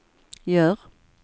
gör